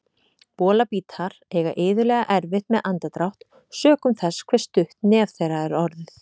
Bolabítar eiga iðulega erfitt með andardrátt sökum þess hve stutt nef þeirra er orðið.